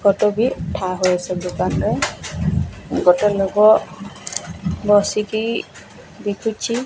ଗୋଟେ ଲୋକ ବସି କି ବିକୁଛି।